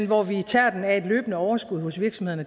hvor vi tager den af et løbende overskud hos virksomhederne